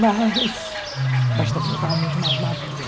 Mas, mas também eu estava muito mais madura.